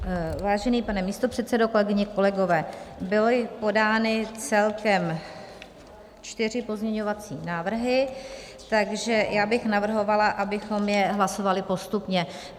Vážený pane místopředsedo, kolegyně, kolegové, byly podány celkem čtyři pozměňovací návrhy, takže já bych navrhovala, abychom je hlasovali postupně.